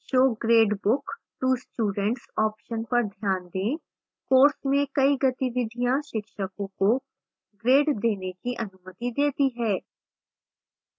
show gradebook to students option पर ध्यान दें